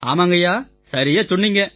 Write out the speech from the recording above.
ஆமாங்கய்யா சரியாச் சொன்னீங்க